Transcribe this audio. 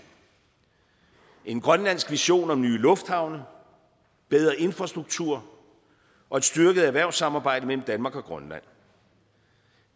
en grønlandsk vision om nye lufthavne bedre infrastruktur og et styrket erhvervssamarbejde mellem danmark og grønland